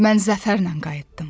Mən zəfərlə qayıtdım.